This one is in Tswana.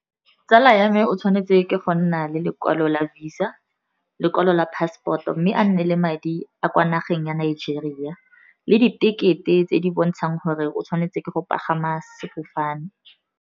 Tsala ya me o tshwanetse ke go nna le lekwalo la visa, lekwalo la passport-o, mme a nne le madi a kwa nageng ya Nigeria, le ditekete tse di bontshang gore o tshwanetse ke go pagama sefofane.